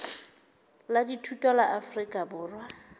la dithuto la afrika borwa